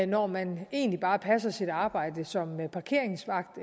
når man egentlig bare passer sit arbejde som parkeringsvagt